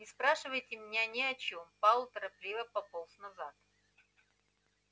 не спрашивайте меня ни о чем пауэлл торопливо пополз назад